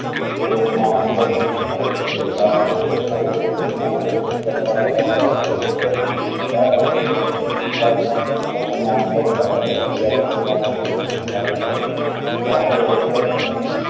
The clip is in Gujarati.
ટૂંક માં ધાતુ અછત ના ધાતુઓ અછત તેમનું